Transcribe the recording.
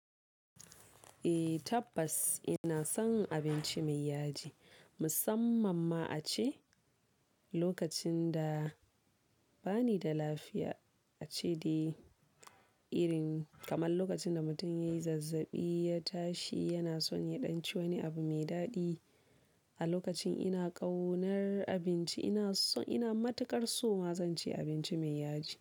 Eh tabbas ina son abinci mai yaji, musamman ma a ce, lokacin da bani da lafiya, a ce dai irin kamar lokacin da mutum yayi zazzaɓi, ya tashi yana son ya ɗanci wani abu mai daɗi. A lokacin ina ƙaunar abinci ina so, ina matuƙar so ma zan ci abinci mai yaji.